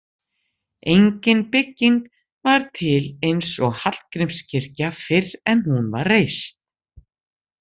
Engin bygging var til eins og Hallgrímskirkja fyrr en hún var reist.